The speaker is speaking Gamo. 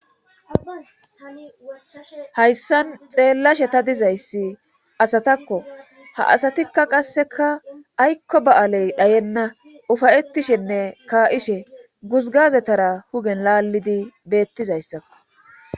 Hayssan xeellashe ta dizayssi asatakko ha asatikka qasseka aykko ba7aaley dhayenna ufayetishenne kaa7ishe guzgazetara hugen laallidi beettizayssakko.